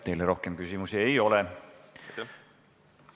Teile rohkem küsimusi ei ole.